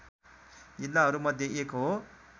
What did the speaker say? जिल्लाहरूमध्ये एक हो